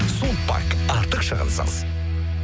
сулпак артық шығынсыз